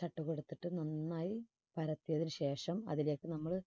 ചട്ടുകം എടുത്തിട്ട് നന്നായി പരത്തിയതിന് ശേഷം അതിലേക്ക് നമ്മള്